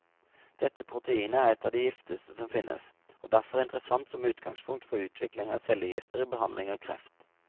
Dette proteinet er et av de giftigste som finnes, og derfor interessant som utgangspunkt for utvikling av cellegifter i behandling av kreft.